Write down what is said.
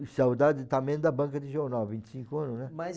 saudade também da banca de jornal, vinte e cinco anos, né? Mais